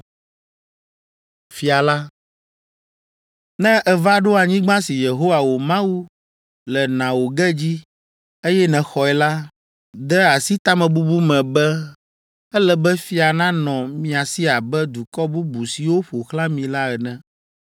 “Ne èva ɖo anyigba si Yehowa, wò Mawu, le na wò ge dzi, eye nèxɔe la, de asi tamebubu me be, ‘Ele be fia nanɔ mía si abe dukɔ bubu siwo ƒo xlã mí la ene!’